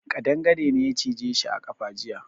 Kadangare ne ya cije shi a kafa jiya.